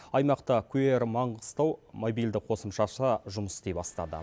аймақта кю эр маңғыстау мобильді қосымшасы жұмыс істей бастады